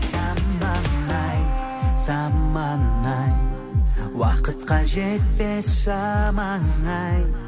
заман ай заман ай уақытқа жетпес шамаң ай